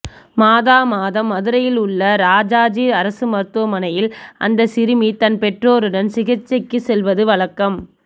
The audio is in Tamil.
மாதா மாதம் மதுரையில் உள்ள ராஜாஜி அரசு மருத்துவமனையில் அந்த சிறுமி தன் பெற்றோருடன் சிகிச்சைக்கு செல்வது வழக்கம்